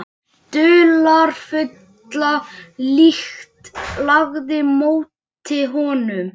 Dularfulla lykt lagði á móti honum.